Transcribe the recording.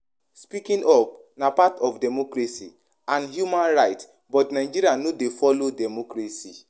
Speaking up na part of democracy and human rights but Nigeria no de follow democracy